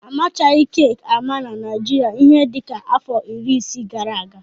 Amachaghị keeki ámá na Naịjirịa ihe dịka afọ iri isii gara aga.